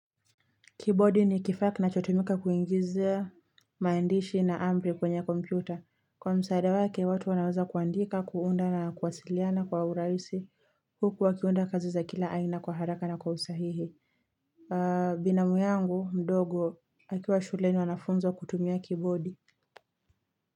Kibodi ni kifaa kinachotumika kuingizia, maandishi na amri kwenye kompyuta. Kwa msaada wake, watu wanaweza kuandika, kuunda na kuwasiliana kwa uraisi. Huku wakiunda kazi za kila aina kwa haraka na kwa usahihi. Binamu yangu, mdogo, akiwa shuleni wanafunzwa kutumia kibodi.